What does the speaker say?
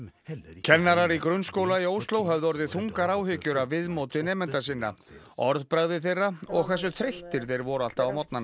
kennarar í grunnskóla í Ósló höfðu orðið þungar áhyggjur af viðmóti nemenda sinna orðbragði þeirra og hversu þreyttir þeir voru alltaf á morgnana